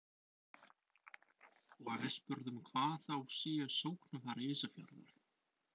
Og við spurðum hvar þau séu sóknarfæri Ísafjarðar?